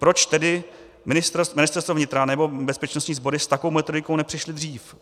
Proč tedy Ministerstvo vnitra nebo bezpečnostní sbory s takovou metodikou nepřišly dřív?